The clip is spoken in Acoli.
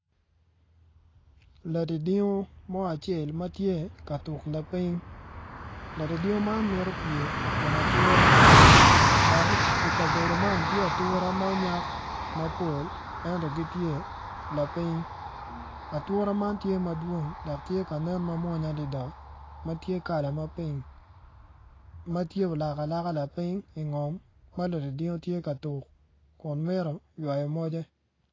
Ladingdingo ma tye ka tuk lapiny dok i kabedo man tye ature ma onyak mapol ento gitye lapiny ature man tye ka nen mamwonya adada.